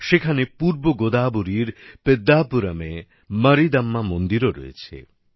সেখানে পূর্বগোদাবরীর পেদ্দাপুরমে মারীদম্মা মন্দিরও রয়েছে